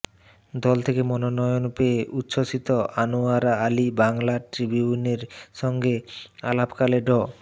দল থেকে মনোনয়ন পেয়ে উচ্ছ্বসিত আনোয়ারা আলী বাংলা ট্রিবিউনের সঙ্গে আলাপকালে ড